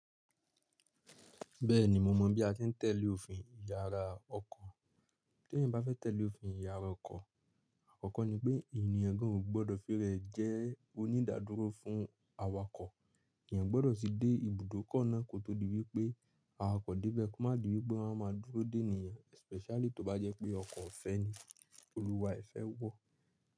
Bẹ́ẹ̀ni mo mọ̀ bí a ti ń tẹ̀lé òfin ìyara ọkọ̀. Bẹ́ẹ̀ni mo mọ̀ bí a ti ń tẹ̀lé òfin ìyara ọkọ̀. Tí ẹ̀yin bá fẹ́ tẹ̀lé òfin ìyara ọkọ̀, àkọ́kọ́ ni pé ènìyàn gbọdọ̀ fi rẹ̀ jẹ́ onídàdúró fún awakọ̀. Awakọ̀ dé bẹ́ẹ̀ kí ó má di wípé wọ́n á máa dúró dé ènìyàn especially tó bá jẹ́ pé ọkọ̀ ọ̀fẹ́ ni, olúwa ẹ́ fẹ́ wọ̀.